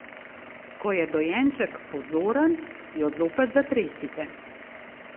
Ko je dojenček pozoren, jo zopet zatresite.